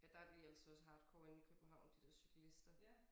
Ja der de altså også hardcore inde i København de der cyklister